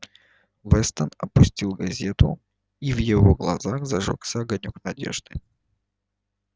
вестон опустил газету и в его глазах зажёгся огонёк надежды